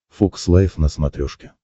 фокс лайв на смотрешке